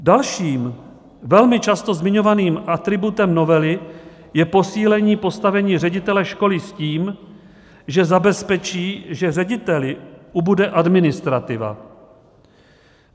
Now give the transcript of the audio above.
Dalším, velmi často zmiňovaným atributem novely, je posílení postavení ředitele školy s tím, že zabezpečí, že řediteli ubude administrativa.